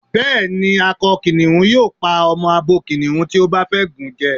Bá́ẹ̀ ni, akọ kìnìhún yóò pa ọmọ abo kìnìhùn tí ó bá fẹ́ gùn jẹ.